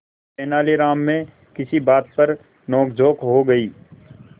तेनालीराम में किसी बात पर नोकझोंक हो गई